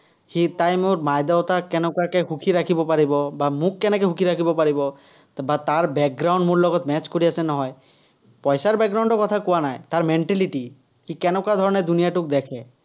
সি তাই মোৰ বাইদেও, তাই কেনেকুৱাকে সুখী ৰাখিব পাৰিব বা মোক কেনেকে সুখী ৰাখিব পাৰিব, বা তাৰ ৰ লগত match কৰি আছে নহয়। পইচাৰ ৰ কথা কোৱা নাই, তাৰ mentality, সি কেনেকুৱা ধৰণে দুনিয়াটোক দেখে।